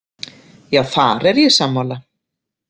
Já, þar er ég sammála.